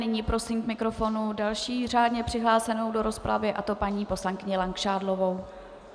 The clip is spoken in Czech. Nyní prosím k mikrofonu další řádně přihlášenou do rozpravy, a to paní poslankyni Langšádlovou.